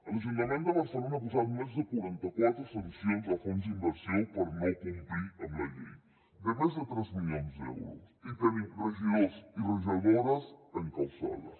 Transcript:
l’ajuntament de barcelona ha posat més de quaranta quatre sancions a fons d’inversió per no complir amb la llei de més de tres milions d’euros i tenim regidors i regidores encausades